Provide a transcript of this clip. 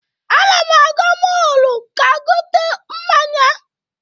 Ana m aga mọọlụ ka gote mmanya.